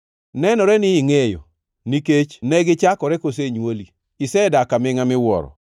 Nenore ni ingʼeyo, nikech ne gichakore kosenywoli! Isedak amingʼa miwuoro!